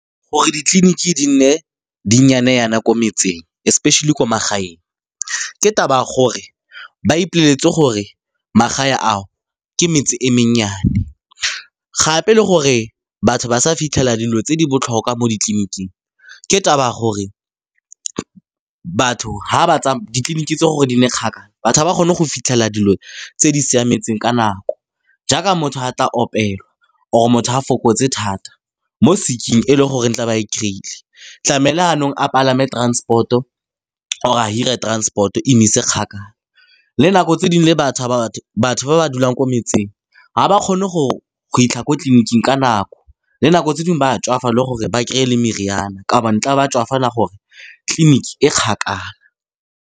Gore ditleliniki di nne di nnyane jaana ko metseng, especially ko magaeng, ke taba ya gore ba ipoleletse gore magae ao ke metse e mennyane, gape le gore batho ba sa fitlhela dilo tse di botlhokwa mo ditleniking, ke taba ya gore ditleliniki tse gore di nne kgakala, batho ga ba kgone go fitlhelela dilo tse di siametseng ka nako, jaaka motho ga a tla opelwa, or-e motho a fokotse thata mo sick-eng, e e le gore tla ba e kry-ile, tlamehile jaanong a palame transport-o, or-e a hire transport-o e mo ise kgakala. Le nako tse dingwe le batho ba ba dulang ko metseng ga ba kgone go fitlha ko tleliniking ka nako, le nako tse dingwe ba tswafa le gore ba kry-e le meriana ka gobane tla be a tswafela gore tleliniki e kgakala.